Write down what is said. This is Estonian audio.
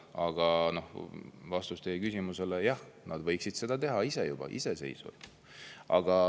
Aga vastus teie küsimusele: jah, nad võiksid seda teha ise, iseseisvalt.